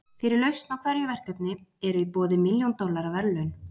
fyrir lausn á hverju verkefni eru í boði milljón dollara verðlaun